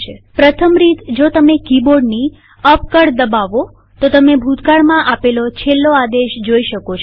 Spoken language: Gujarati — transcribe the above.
પ્રથમ રીતજો તમે કીબોર્ડની અપ કળ દબાવો તો તમે ભૂતકાળમાં આપેલો છેલ્લો આદેશ જોઈ શકો છો